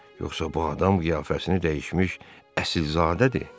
Yoxsa bu adam qiyafəsini dəyişmiş əsilzadədir?